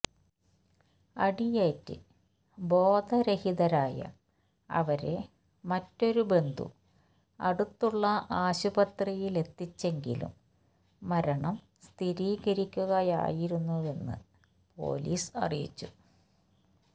അടിയേറ്റ് ബോധരഹിതരായ അവരെ മറ്റൊരു ബന്ധു അടുത്തുള്ള ആശുപത്രിയിലെത്തിച്ചെങ്കിലും മരണം സ്ഥിരീകരിക്കുകയായിരുന്നുവെന്ന് പോലീസ് അറിയിച്ചു